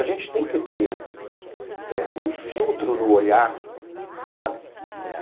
A gente tem que ter eh um filtro no olhar, sabe?